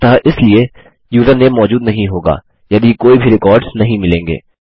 अतः इसलिए यूज़रनेम मौजूद नहीं होगा यदि कोई भी रिकॉर्ड्स नहीं मिलेंगे